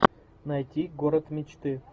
найти город мечты